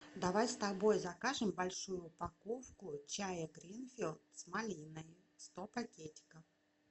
давай с тобой закажем большую упаковку чая гринфилд с малиной сто пакетиков